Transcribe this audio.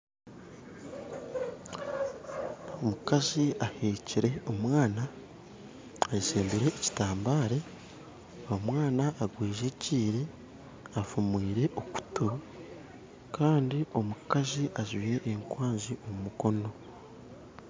Omukazi aheekire omwana ayeshebire ekitambare omwana ogwejegyire afumwire okutu kandi omukazi ajwire ekwanzi omu mukono